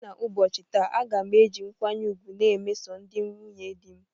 Site n'ubochi taa, a ga m eji nkwanye ugwu na emeso ndi nwunye dị m